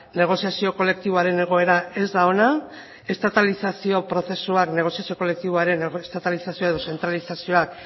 negoziazio kolektiboaren egoera ez da ona estatalizazio prozesuak negoziazio kolektiboaren estatalizazioa edo zentralizazioak